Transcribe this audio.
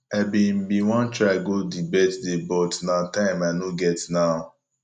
i bin bin wan try go the birthday but na time i no get now